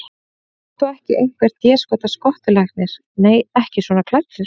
Þú ert þó ekki einhver déskotans skottulæknirinn. nei, ekki svona klæddur.